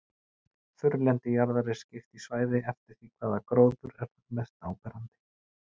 Þurrlendi jarðar er skipt í svæði eftir því hvaða gróður er þar mest áberandi.